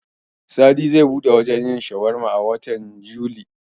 Sadi zai buɗe wajen yin shawarma a watan Yuli.